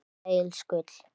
Rúta Egils Gull